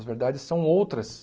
As verdades são outras.